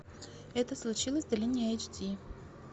это случилось в долине эйч ди